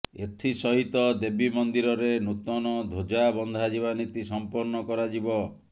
ଏଥି ସହିତ ଦେବୀ ମନ୍ଦିରରେ ନୂତନ ଧ୍ୱଜା ବଂଧାଯିବା ନୀତି ସମ୍ପନ୍ନ କରାଯିବ